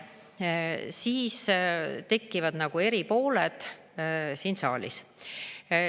… siis tekivad eri pooled siin saalis.